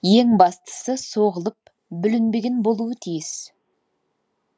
ең бастысы соғылып бүлінбеген болуы тиіс